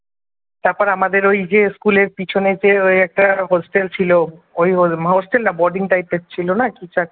তারপর আমাদের ওই যে school এর পিছনে যে ওই একটা hostel ছিল ওই hostel না boarding type র ছিল না কিছু একটা,